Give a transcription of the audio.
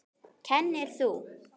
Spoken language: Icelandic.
Kennir þú?